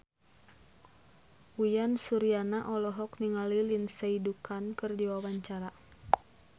Uyan Suryana olohok ningali Lindsay Ducan keur diwawancara